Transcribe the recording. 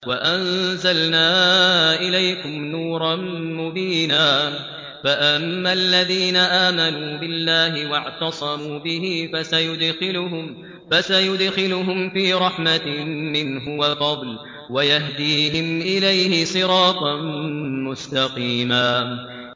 فَأَمَّا الَّذِينَ آمَنُوا بِاللَّهِ وَاعْتَصَمُوا بِهِ فَسَيُدْخِلُهُمْ فِي رَحْمَةٍ مِّنْهُ وَفَضْلٍ وَيَهْدِيهِمْ إِلَيْهِ صِرَاطًا مُّسْتَقِيمًا